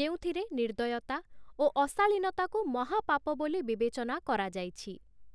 ଯେଉଁଥିରେ ନିର୍ଦ୍ଦୟତା ଓ ଅଶାଳୀନତାକୁ ମହାପାପ ବୋଲି ବିବେଚନା କରାଯାଇଛି ।